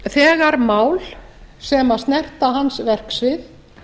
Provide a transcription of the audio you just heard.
þegar mál sem snerta hans verksvið